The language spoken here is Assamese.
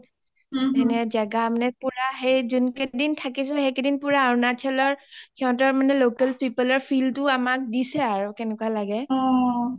এনে যাগা পুৰা যোন কেইদিন থাকিছো সেই কেইদিন পুৰা অৰুণাচলৰ সিহতৰ মানে local people ৰ feel টো আমাক দিছে আৰু কেনেকুৱা লাগে